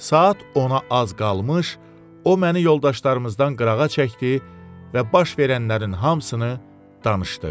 Saat ona az qalmış, o məni yoldaşlarımızdan qırağa çəkdi və baş verənlərin hamısını danışdı.